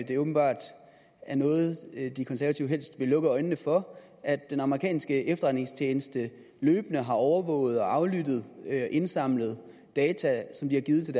det åbenbart er noget de konservative helst vil lukke øjnene for at den amerikanske efterretningstjeneste løbende har overvåget og aflyttet indsamlede data som de har givet til